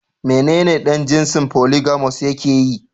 Menene dan jinsin "Polygamous " yakeyi.